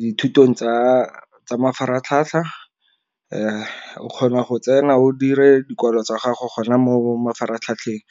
dithutong tsa mafaratlhatlha, o kgona go tsena o dire dikwalo tsa gago gona mo mafaratlhatlheng .